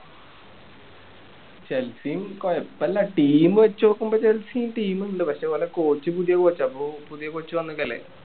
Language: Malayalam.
ചെൽസിയും കൊയപ്പില്ല team വെച്ച് നോക്കുമ്പോ ചെൽസിയും team ഇണ്ട് പക്ഷെ ഓലെ coach പുതിയ coach ആ ഇപ്പൊ പുതിയ coach വന്നേക്കുവല്ലേ